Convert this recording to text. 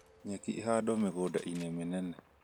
Nyeki ĩhandwo mĩgunda-inĩ mĩnene